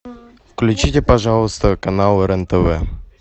включите пожалуйста канал рен тв